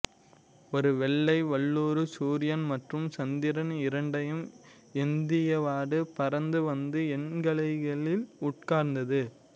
ஒரு வெள்ளை வல்லூறு சூரியன் மற்றும் சந்திரன் இரண்டையும் ஏந்தியவாறு பறந்து வந்து என் கைகளில் உட்கார்ந்தது